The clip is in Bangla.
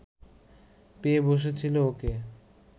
পেয়ে বসেছিল ওকে